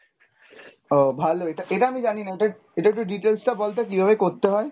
ও ভালোই এটা এটা আমি জানিনা এটা, এটা একটু details টা বলতো কীভাবে করতে হয় ?